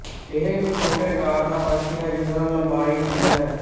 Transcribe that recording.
ਇਹ ਇਕ ਛੋਟੇ ਆਕਾਰ ਦਾ ਪੰਛੀ ਹੈ ਜਿਸਦਾ ਲੰਬਾਈ ਹੁੰਦੀ ਹੈ